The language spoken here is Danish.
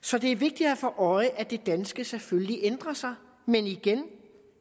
så det er vigtigt at have for øje at det danske selvfølgelig ændrer sig men igen